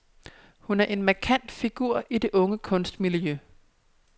Hun er en markant figur i det unge kunstmiljø.